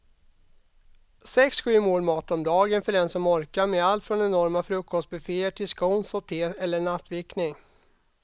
Sex, sju mål mat om dagen för den som orkar med allt från enorma frukostbufféer till scones och te eller nattvickning.